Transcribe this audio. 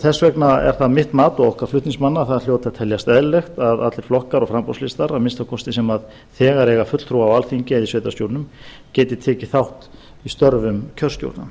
þess vegna er það mitt mat og okkar flutningsmanna að það hljóti að teljast eðlilegt að allir flokkar og framboðslistar að minnsta kosti sem þegar eiga fulltrúa á alþingi eigi í sveitarstjórnum geti tekið þátt í störfum kjörstjórna